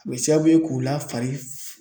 A bɛ sababu ye k'u la fari